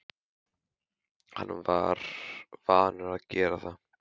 Hann var vanur að gera það.